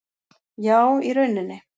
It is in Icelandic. . Já í rauninni.